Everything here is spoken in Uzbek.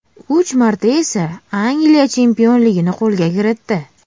Uch marta esa Angliya chempionligini qo‘lga kiritdi.